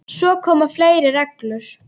Svo koma fleiri reglur.